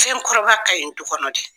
Fɛn kɔrɔ ka ɲi du kɔnɔ dɛ!